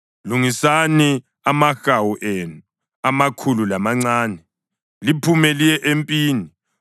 “Lungisani amahawu enu, amakhulu lamancane, liphume liye empini.